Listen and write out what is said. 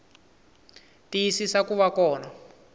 tiyisisa ku va kona ka